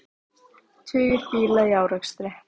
Tugir bíla í árekstri